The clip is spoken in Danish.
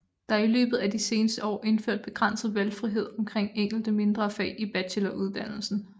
Der er i løbet af de seneste år indført begrænset valgfrihed omkring enkelte mindre fag i bacheloruddannelsen